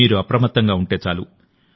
మీరు అప్రమత్తంగా ఉంటే చాలు